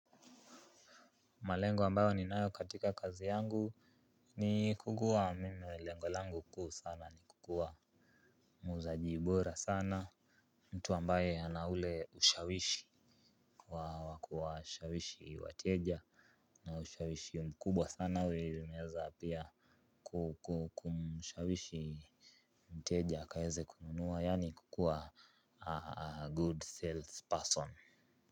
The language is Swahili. Malengo ambayo ninayo katika kazi yangu ni kukua, mimi lengo langu kuu sana ni kukua muuzaji bora sana. Mtu ambaye ana ule ushawishi kwa kuwashawishi wateja na ushawishi mkubwa sana, unaweza pia kumshawishi mteja akaweze kununua yani kukuwa 'a good sales person'.